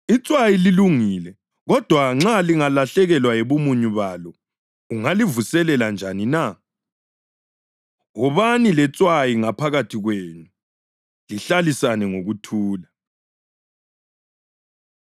Itswayi lilungile, kodwa nxa lingalahlekelwa yibumunyu balo, ungalivuselela njani na? Wobani letswayi ngaphakathi kwenu, lihlalisane ngokuthula.”